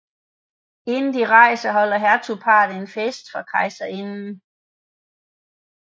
Inden de rejser holder hertugparret en fest for kejserinden